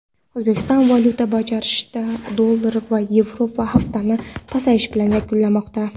O‘zbekiston valyuta birjasida dollar va yevro haftani pasayish bilan yakunlamoqda.